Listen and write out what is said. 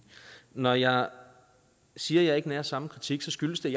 når jeg siger at jeg ikke har samme kritik skyldes det